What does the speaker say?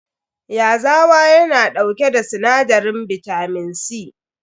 Yazawa yana dauke da sinadarin bitamin C.